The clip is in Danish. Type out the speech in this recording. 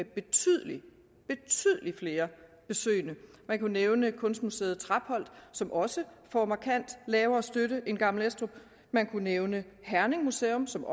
betydelig flere man kunne nævne kunstmuseet trapholt som også får markant lavere støtte end gammel estrup man kunne nævne herning museum som